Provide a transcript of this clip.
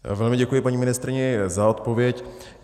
Velmi děkuji, paní ministryně, za odpověď.